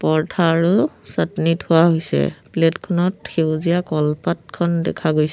পৰ্থা আৰু চাটনি থোৱা হৈছে। প্লেট খনত সেউজীয়া কলপাতখন দেখা গৈছে।